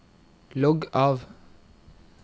logg av